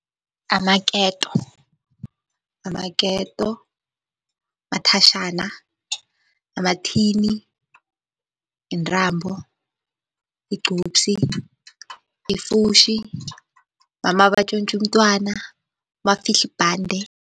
Amaketo, amaketo, umathatjhana, amathini, intambo, igcubsi, ifutjhi, mama batjontja umtwana, mafihla ibhande.